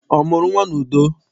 Ọ mụrụ nnwa n'udo?